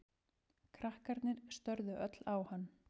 Krakkarnir störðu öll á hann.